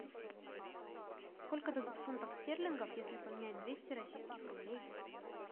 сколько дадут фунтов стерлингов если поменять двести российских рублей